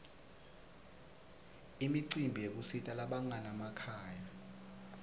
imicimbi yekusita labanganamakhaya